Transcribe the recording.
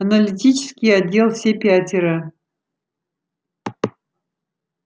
аналитический отдел все пятеро